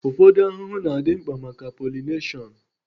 Ụfọdụ ahụhụ na-adị mkpa maka pọlịneshon